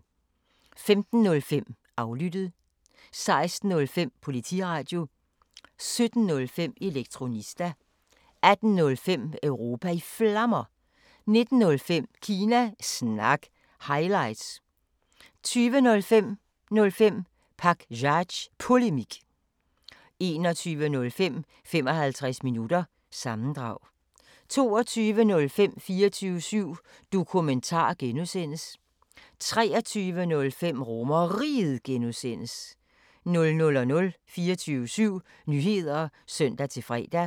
15:05: Aflyttet 16:05: Politiradio 17:05: Elektronista 18:05: Europa i Flammer 19:05: Kina Snak – highlights 20:05: 05 Pakzads Polemik 21:05: 55 Minutter – sammendrag 22:05: 24syv Dokumentar (G) 23:05: RomerRiget (G) 00:00: 24syv Nyheder (søn-fre)